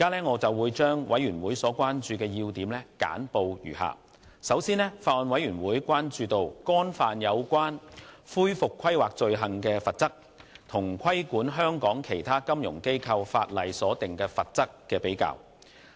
我現將委員會所關注的要點簡報如下：首先，法案委員會關注干犯有關恢復規劃的罪行所訂明的罰則，與規管香港其他金融機構的法例所訂的罰則的比較。